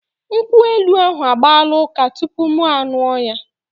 Nkwụ elu ahụ agbaala ụka tupu mụ aṅụọ ya.